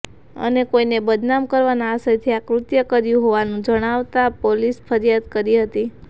અને કોઈએ બદનામ કરવાના આશયથી આ કૃત્ય કર્યું હોવાનું જણાતાં પોલીસ ફરિયાદ કરી હતી